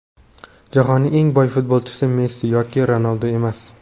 Jahonning eng boy futbolchisi Messi yoki Ronaldu emas.